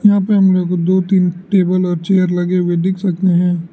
यहां पर हम लोग दो तीन टेबल और चेयर लगे हुए देख सकते हैं।